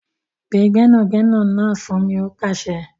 Pe gbẹ́nàgbẹnà náà fún mi! ó pàsẹ.